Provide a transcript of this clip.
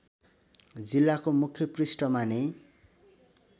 जिल्लाको मुख्य पृष्ठमा नै